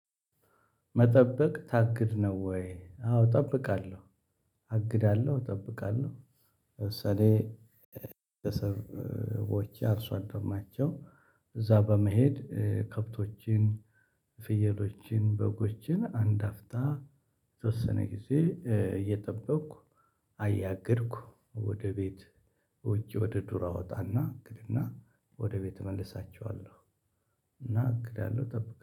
መጠበቅ ታግድ ነው ወይ? አዎ እጠብቃለሁ አግዳለሁ እጠብቃለሁ። ለምሳሌ ቤተሰቦቼ አርሶ አደር ናቸው። እዛ በመሄድ ከብቶችን ፍየሎችን በጎችን አንድ አፍታ የተወሰነ ጊዜ እየጠበቅኩ። አያገድኩ ወደ ቤት ወጪ ወደ ዱር አወጣና እግድና ወደ ቤት እመልሳቸዋለሁ። እና አግዳለሁ እጠብቃለሁ